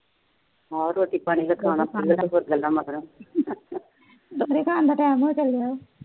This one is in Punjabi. ਆਹੋ ਰੋਟੀ ਪਾਣੀ ਖਾਣਾ ਤੇ ਹੋਰ ਗੱਲਾ ਮਾਰਾ